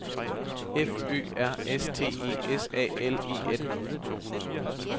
F Ø R S T E S A L E N